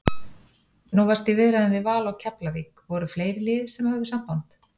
Nú varstu í viðræðum við Val og Keflavík, voru fleiri lið sem höfðu samband?